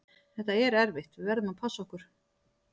Þetta er erfitt, við verðum að passa okkur.